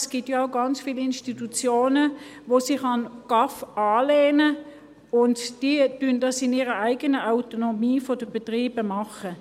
Es gibt ja auch ganz viele Institutionen, die sich an den GAV anlehnen und dies in ihrer eigenen Autonomie als Betriebe tun.